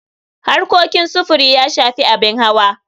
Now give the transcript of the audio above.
Harkokin sufuri ya shafi abin hawa.